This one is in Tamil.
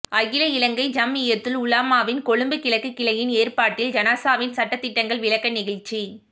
அகில இலங்கை ஜம்இய்யத்துல் உலமாவின் கொழும்பு கிழக்கு கிளையின் ஏற்பாட்டில் ஜனாஸாவின் சட்ட திட்டங்கள் விளக்க நிகழ்சி